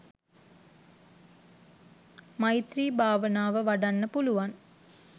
මෛත්‍රී භාවනාව වඩන්න පුළුවන්.